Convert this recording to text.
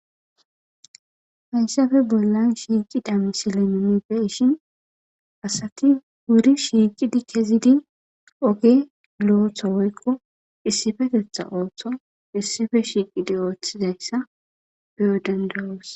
Hayisape bollan shiqida misilen nuni be'ishin asati wuri shiqidi kezidi oge loyiso woyiko issipetetha oso wuri shiqidi otheyisa be'os